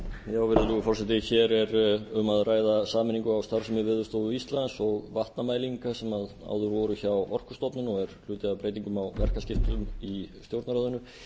virðulegur forseti hér er um að ræða sameiningu á starfsemi veðurstofu íslands og vatnamælinga sem áður voru hjá orkustofnun og er hluti af breytingum á verkaskiptum í stjórnarráðinu